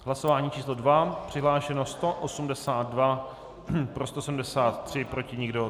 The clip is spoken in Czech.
Hlasování číslo 2, přihlášeno 182, pro 173, proti nikdo.